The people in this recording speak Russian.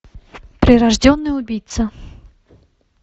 прирожденный убийца